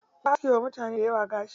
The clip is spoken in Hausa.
Ya aske wa mutane dayawa gashi.